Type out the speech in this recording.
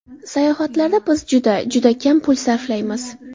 Sayohatlarda biz juda, juda kam pul sarflaymiz.